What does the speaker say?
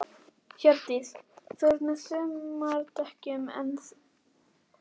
Hjördís: Þú ert á sumardekkjunum enn þá, af hverju?